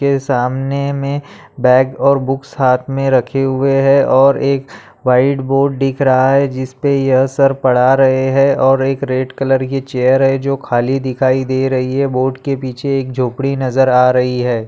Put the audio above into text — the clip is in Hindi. के सामने में बैग और बुक्स हाथ मे रखे हुए है और एक व्हाइट बोर्ड दिख रहा है जिसपे ये सर पढा रहे है और एक रेड कलर की चेयर है जो खाली दिखाई दे रही है बोर्ड के पीछे एक झोंपड़ी नजर आ रही हैं।